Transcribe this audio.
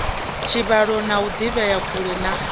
tshivhalo o ḓivhea kule na